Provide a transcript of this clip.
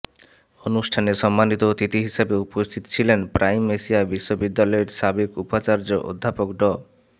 অনুষ্ঠানে সম্মানিত অতিথি হিসেবে উপস্থিত ছিলেন প্রাইমএশিয়া বিশ্ববিদ্যালয়ের সাবেক উপাচার্য অধ্যাপক ড